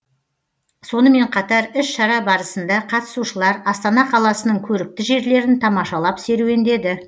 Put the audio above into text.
сонымен қатар іс шара барысында қатысушылар астана қаласының көрікті жерлерін тамашалап серуендеді